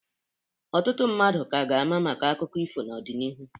Ọtụtụ mmadụ ka ga-ama maka akụkọ ifo n'odịnihu.